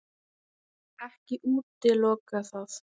Ekki útiloka það.